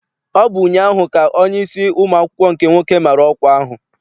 Ọ bụ ụnyaahụ ka onyeisi ụmụ akwụkwọ nke nwoke mara ọkwa ahụ.